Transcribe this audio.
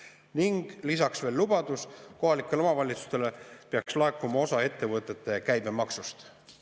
Ning lisaks veel lubadus, et kohalikele omavalitsustele peaks laekuma osa ettevõtete käibemaksust.